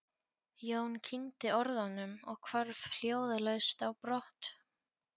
Jón kyngdi orðunum og hvarf hljóðalaust á brott.